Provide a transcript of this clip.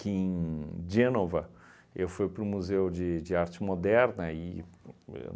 que, em Genova, fui para o Museu de de Arte Moderna e eu